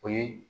O ye